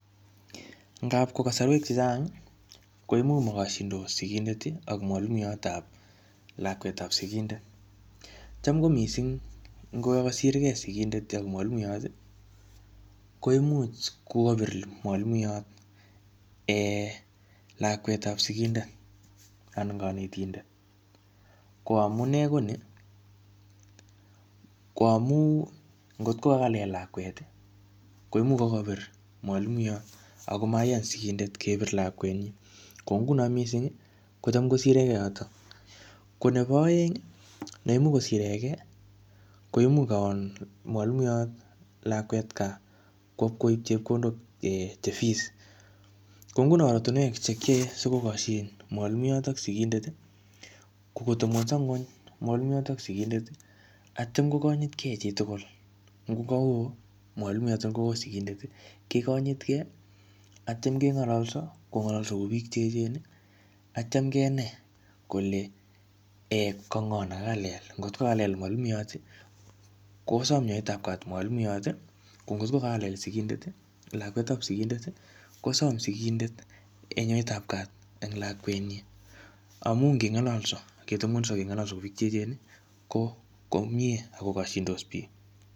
Ngapko kasarwek chechang, koimuch makashindos sikindet, ak mwalimuiyot ap lakwet ap sikindet. Cham ko missing ngo kosirgei sikindet ak mwalimuiyot, koimuch kokapir mwalimuiyot um lakwetap sikindet, anan kanetindet. Ko amunee ko nii, ko amuu ngotko kakalel lakwet, koimuch kakapir mwalimuiyot, akomaiyan sigindet kepir lakwet nyi. Ko nguno missing, kocham kosiregei yotok. Ko nebo aeng, neimuch kosiregei, koimuch kaon mwalimuiyot lakwet gaa, kwo ipkoip chekondok um che fees. Ko nguno oratunwek che kiyae sikikoshon mwalimuiyot ak sikindet, ko kotepngunyso nguny mwalimuiyot ak sikindet, atyam kokinyitkei chi tugul. Ngoka oo mwalimuiyot ako oo sikindet, kekonyitkei, atyam keng'alolso. Kong'alalso kuu biik che echen, atyam kenai kole um kango ne kakalel. Ngotko kalel mwalimuiyot, kosam nyoetap kat mwalimuiyot. Ko ngotko kalel sikindet, lakwetap sikindet, kosam sikindet nyoetap kat eng lakwet nyi. Amu ngeng'alalso ketebungunyso keng'alalso kou biik che echen, ko ko miee akokashindos biik.